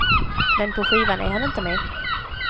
Men på skivan är han inte med.